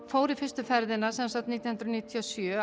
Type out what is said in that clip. fór í fyrstu ferðina nítján hundruð níutíu og sjö